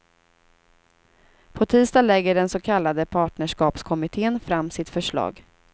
På tisdag lägger den så kallade partnerskapskommitten fram sitt förslag.